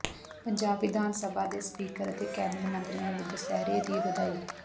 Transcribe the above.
ਪੰਜਾਬ ਵਿਧਾਨ ਸਭਾ ਦੇ ਸਪੀਕਰ ਅਤੇ ਕੈਬਨਿਟ ਮੰਤਰੀਆਂ ਵੱਲੋਂ ਦੁਸਹਿਰੇ ਦੀ ਵਧਾਈ